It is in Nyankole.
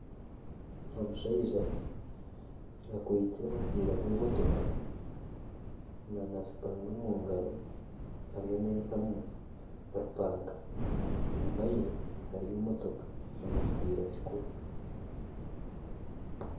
Omushaija akwaitse omupiira gw'emotoka nana supana omugaro ariyo naihamu orumpaka enyima ye hariyo emotooka n'ekipiira kikuru.